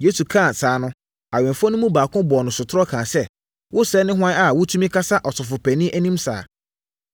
Yesu kaa saa no, awɛmfoɔ no mu baako bɔɔ no sotorɔ kaa sɛ, “Wo sɛɛ ne hwan a wotumi kasa ɔsɔfopanin anim saa.”